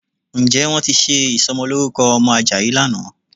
Ǹjẹ́ wọ́n ti ṣe ìsọmọlórúkọ ọmọ Àjàyí lánàá?